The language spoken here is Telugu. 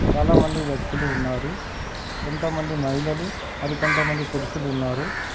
చాలామంది వ్యక్తులు ఉన్నారు. కొంతమంది మహిళలు మరి కొంతమంది పురుషులు ఉన్నారు.